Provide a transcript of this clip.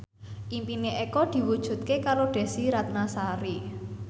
impine Eko diwujudke karo Desy Ratnasari